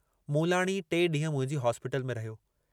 मूलाणी टे डींहुं मुंहिंजी हॉस्पीटल में रहियो।